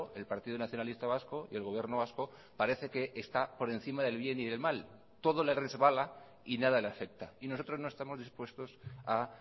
el partido nacionalista vasco y el gobierno vasco parece que está por encima del bien y del mal todo le resbala y nada le afecta y nosotros no estamos dispuestos a